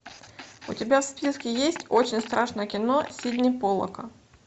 у тебя в списке есть очень страшное кино сидни поллака